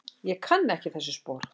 Ég kann ekki þessi spor.